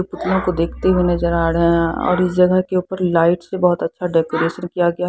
पुतलों को देखते हुए नजर आ रहे हैं और इस जगह के ऊपर लाइट से बहुत अच्छा डेकोरेशन किया गया--